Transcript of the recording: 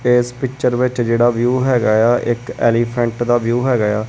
ਇਸ ਪਿਕਚਰ ਵਿੱਚ ਜਿਹੜਾ ਵਿਊ ਹੈਗਾ ਆ ਇੱਕ ਐਲੀਫੈਂਟ ਦਾ ਵਿਊ ਹੈਗਾ ਆ।